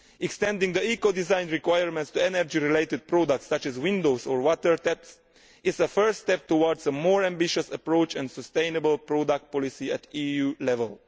Extending the eco design requirements to energy related products such as windows or water taps is the first step towards a more ambitious approach and a sustainable product policy at EU level.